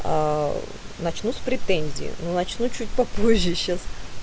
аа начну с претензией но начну чуть по-позже сейчас